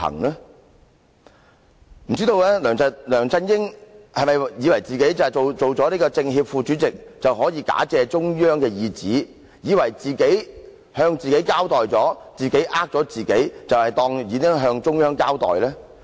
不知道梁振英是否以為他擔任政協副主席，便可以假借中央意旨，以為自己向自己交代後，欺騙了自己，便當作已向中央交代？